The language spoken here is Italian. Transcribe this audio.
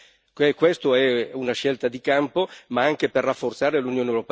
Questa è una scelta di campo, ma anche per rafforzare l'Unione europea.